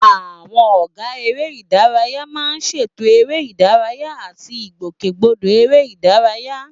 Àwọn ọ̀gá eré ìdárayá máa ń ṣètò eré ìdárayá àti àwọn ìgbòkègbodò eré ìdárayá.